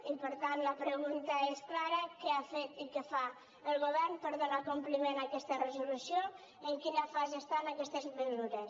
i per tant la pregunta és clara què ha fet i què fa el govern per donar compliment a aquesta resolució i en quina fase estan aquestes mesures